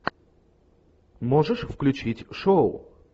можешь включить шоу